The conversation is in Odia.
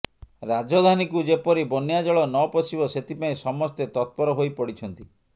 ରାଜଧାନୀକୁ ଯେପରି ବନ୍ୟା ଜଳ ନପଶିବ ସେଥିପାଇଁ ସମସ୍ତେ ତତ୍ପର ହୋଇପଡ଼ିଛନ୍ତି